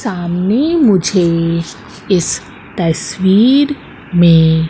सामने मुझे इस तस्वीर में--